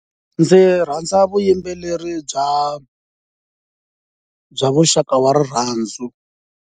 Ndzi rhandza vuyimbeleri bya bya muxaka wa rirhandzu.